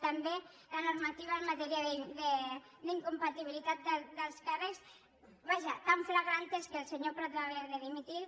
també la normativa en matèria d’incompatibilitat d’alts càrrecs vaja tan flagrant és que el senyor prat va haver de dimitir